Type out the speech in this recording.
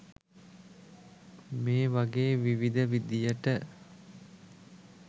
මේ වගේ විවිධ විදිහට